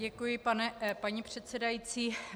Děkuji, paní předsedající.